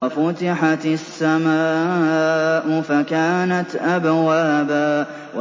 وَفُتِحَتِ السَّمَاءُ فَكَانَتْ أَبْوَابًا